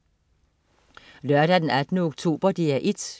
Lørdag den 18. oktober - DR 1: